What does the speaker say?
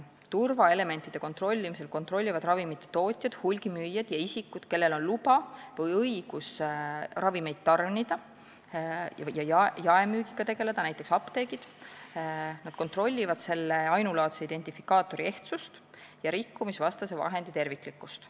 Turvaelementide kontrollimisel kontrollivad ravimite tootjad, hulgimüüjad ja isikud, kellel on luba või õigus ravimeid tarnida ja nende jaemüügiga tegeleda, näiteks apteegid, ainulaadse identifikaatori ehtsust ja rikkumisvastase vahendi terviklikkust.